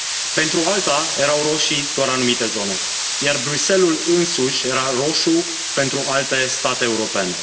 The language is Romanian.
Pentru o alta, erau roșii doar anumite zone, iar Bruxelles ul însuși era roșu pentru alte state europene.